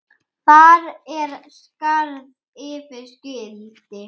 Þar er skarð fyrir skildi.